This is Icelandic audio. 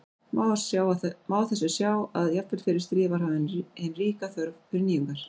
Má á þessu sjá að jafnvel fyrir stríð var hafin hin ríka þörf fyrir nýjungar.